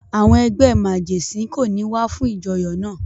Àwọn ẹgbẹ́ màgẹ̀sín kò ní wá fún ìjọyọ̀ náà.